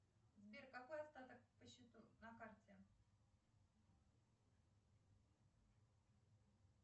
сбер какой остаток по счету на карте